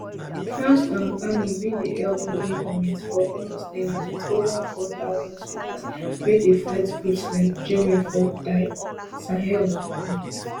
france um army bin dey help mali goment for almost ten years wit ova four thousand soldiers wey dey fight groups like jnim for di sahel um